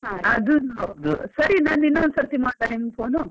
ಅದೂನೂ ಸರಿ ನಾನು ಇನ್ನೊಂದು ಸರ್ತಿ ಮಾಡ್ಲಾ phone .